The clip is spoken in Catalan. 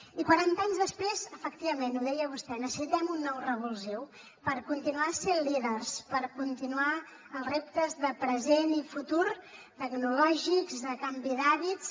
i quaranta anys després efectivament ho deia vostè necessitem un nou revulsiu per continuar sent líders per continuar els reptes de present i futur tecnològics de canvi d’hàbits